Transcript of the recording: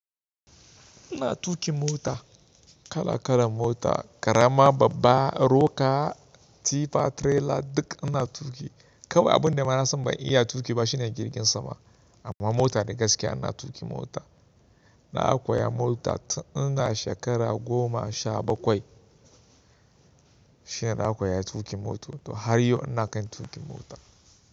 Ina tuƙin mota, kala kala mota karama, babba, roka, tifa, tirela duk ina tuƙi. Kawai abun da ma nasan mai iya tuƙi ba shine jirgin sama amma mota da gaskiya ina tuƙin mota. Na akoya mota tun ina shekara goma sha bakwai shine na koya tuƙin mota har yau ina kan tuƙin mota.